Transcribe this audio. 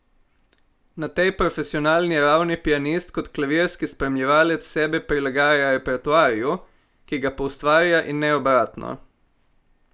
Na tej profesionalni ravni pianist kot klavirski spremljevalec sebe prilagaja repertoarju, ki ga poustvarja, in ne obratno.